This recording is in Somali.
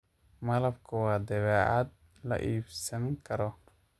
Malabku waa badeecad la iibsan karo.